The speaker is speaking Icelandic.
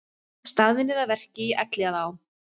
Staðnir að verki í Elliðaám